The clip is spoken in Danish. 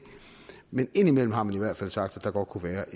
men indimellem har man i hvert fald sagt at der godt kunne være